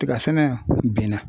Tiga sɛnɛ benna.